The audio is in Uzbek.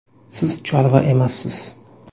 Siz chorva emassiz!